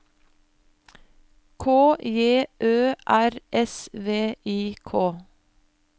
K J Ø R S V I K